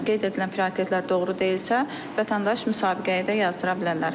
Qeyd edilən prioritetlər doğru deyilsə, vətəndaş müsabiqəyə də yazdıra bilərlər.